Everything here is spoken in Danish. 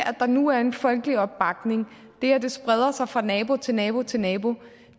der nu er en folkelig opbakning det at det spreder sig fra nabo til nabo til nabo